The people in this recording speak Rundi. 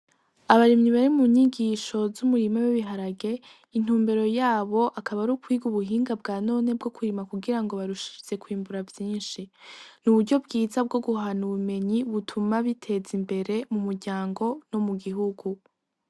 Abarimyi bari mu nyigisho z'umurima w'ibiharage intumbero yabo akaba ari ukwiga ubuhinga bwanone bwo kurima kugirango barushirize kwimbura vyishi n'uburyo bwiza bwo guhana ubumenyi butuma biteza imbere mu muryango no mu gihugu.